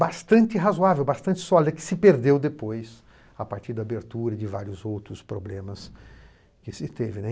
Bastante razoável, bastante sólida, que se perdeu depois, a partir da abertura de vários outros problemas que se teve, né.